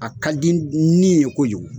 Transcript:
A ka di n nin ye kojugu.